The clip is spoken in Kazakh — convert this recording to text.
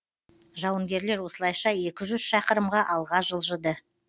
жауынгерлер осылайша екі жүз шақырымға алға жылжыды